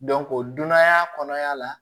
o dunanya kɔnɔna la